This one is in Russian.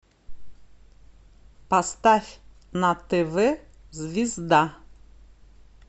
поставь на тв звезда